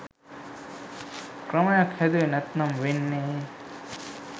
ක්‍රමයක් හැදුවෙ නැත්නම් වෙන්නේ